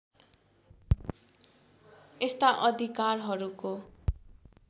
यस्ता अधिकारहरूको